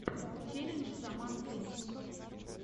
челлендж роман фильченков